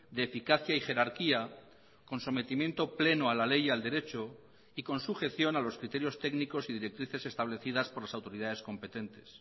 de eficacia y jerarquía con sometimiento pleno a la ley y al derecho y con sujeción a los criterios técnicos y directrices establecidas por las autoridades competentes